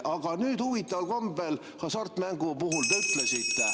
Aga huvitaval kombel hasartmängu puhul te ütlesite …